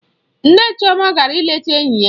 Nne Chioma gara ịleta enyi ya.